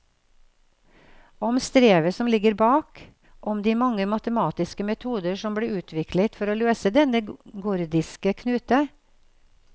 Om strevet som ligger bak, om de mange matematiske metoder som ble utviklet for å løse denne gordiske knute.